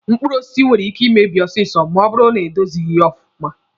Mkpụrụ osisi nwere ike imebi ọsịsọ ma ọ bụrụ na edozighi ọfụma.